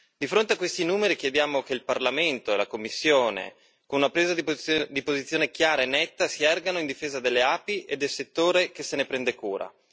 Di fronte a questi numeri chiediamo che il Parlamento e la Commissione, con una presa di posizione chiara e netta, si ergano in difesa delle api e del settore che se ne prende cura.